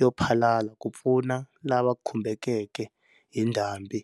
yo phalala ku pfuna lava khumbekeke hi ndhambi.